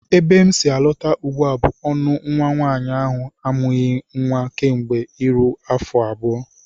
Ebe m si alọta ugbu a bụ ọṅụ nnwa nwaanyị ahụ amụbeghị nnwa kemgbe iro afọ abụọ